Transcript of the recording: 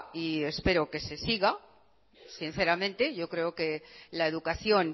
y espero que se siga sinceramente yo creo que la educación